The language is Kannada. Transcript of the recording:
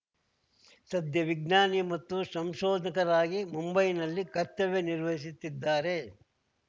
ಸದ್ಯ ವಿಜ್ಞಾನಿ ಮತ್ತು ಸಂಶೋಧಕರಾಗಿ ಮುಂಬೈನಲ್ಲಿ ಕರ್ತವ್ಯ ನಿರ್ವಹಿಸುತ್ತಿದ್ದಾರೆ